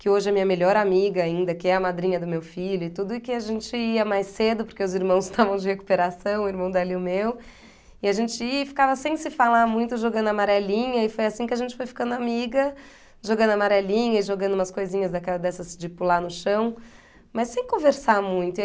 que hoje é minha melhor amiga ainda, que é a madrinha do meu filho e tudo, e que a gente ia mais cedo, porque os irmãos estavam de recuperação, o irmão dela e o meu, e a gente ia e ficava sem se falar muito, jogando amarelinha, e foi assim que a gente foi ficando amiga, jogando amarelinha e jogando umas coisinhas daquela dessas de pular no chão, mas sem conversar muito.